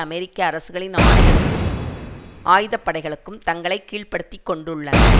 அமெரிக்க அரசுகளின் ஆணைகளுக்கும் ஆயுதப்படைகளுக்கும் தங்களை கீழ்ப்படுத்திக் கொண்டுள்ளன